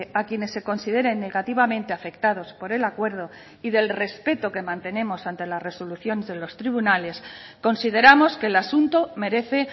a quienes se consideren negativamente afectados por el acuerdo y del respeto que mantenemos ante la resolución de los tribunales consideramos que el asunto merece